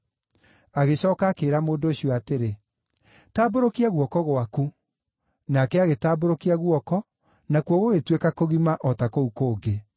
Agĩcooka akĩĩra mũndũ ũcio atĩrĩ, “Tambũrũkia guoko gwaku.” Nake agĩtambũrũkia guoko, nakuo gũgĩtuĩka kũgima, o ta kũu kũngĩ.